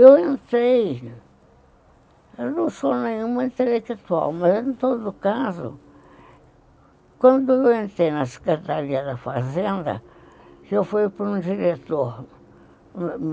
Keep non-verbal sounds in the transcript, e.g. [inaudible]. Eu entrei, eu não sou nenhum intelectual, mas, em todo caso, quando eu entrei na Secretaria da Fazenda, que eu fui para um diretor [unintelligible]